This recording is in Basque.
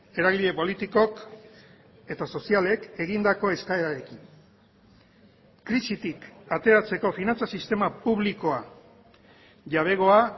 eragile politikok eta sozialek egindako eskaerarekin krisitik ateratzeko finantza sistema publikoa jabegoa